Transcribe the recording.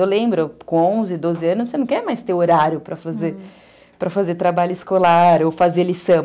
Eu lembro, com onze, doze anos, você não quer mais ter horário para fazer trabalho escolar ou fazer lição. Uhum.